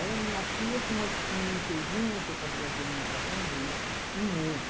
Era a minha pia com umas piriteirinhas que eu fazia, às vezes, um macarrãozinho, um ovo.